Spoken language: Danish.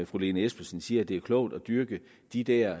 fru lene espersen siger at det er klogt at dyrke de der